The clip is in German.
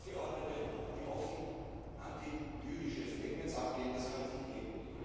AKP Abgeordnete, die offen antijüdische Statements abgeben das kann es nicht geben.